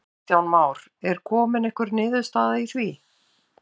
Kristján Már: Er komin einhver niðurstaða í því?